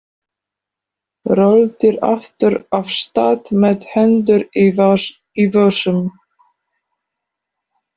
Röltir aftur af stað með hendur í vösum.